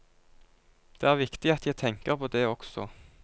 Det er viktig at jeg tenker på det også.